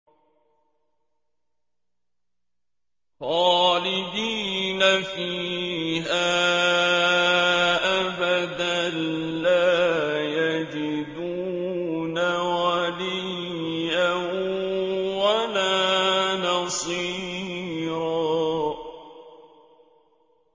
خَالِدِينَ فِيهَا أَبَدًا ۖ لَّا يَجِدُونَ وَلِيًّا وَلَا نَصِيرًا